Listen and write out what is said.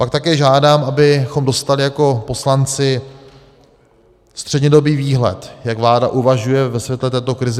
Pak také žádám, abychom dostali jako poslanci střednědobý výhled, jak vláda uvažuje ve světle této krize.